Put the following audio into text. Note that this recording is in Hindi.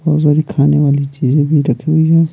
बहुत सारी खाने वाली चीजें भी रखी हुई है।